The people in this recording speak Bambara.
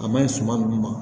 A maɲi suman min ma